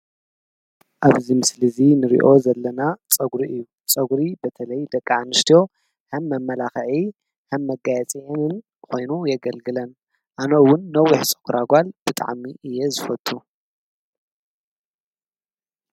ፀግራ ዝተሰረሐት ጓል ትረኣ ብጣዕሚ ደስ በሃሊትን ሰሓቢትን። ንደቂ ኣንስትዮ ከዓ ብጣዕሚ የፀብቐለን።